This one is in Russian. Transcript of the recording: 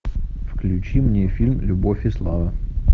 включи мне фильм любовь и слава